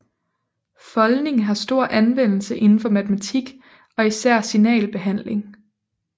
Foldning har stor anvendelse inden for matematik og især signalbehandling